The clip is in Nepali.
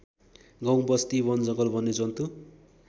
गाउँबस्ती वनजङ्गल वन्यजन्तु